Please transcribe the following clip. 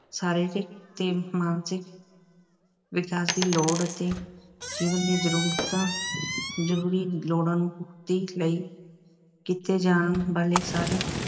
ਸਰੀਰਿਕ ਅਤੇ ਮਾਨਸਿਕ ਵਿਕਾਸ ਦੀ ਲੋੜ ਅਤੇ ਜੀਵਨ ਦੀਆਂ ਜ਼ਰੂਰਤਾਂ ਜ਼ਰੂਰੀ ਲੋੜਾਂ ਨੂੰ ਪੂਰਤੀ ਲਈ ਕੀਤੇ ਜਾਣ ਵਾਲੇ ਸਾਰੇ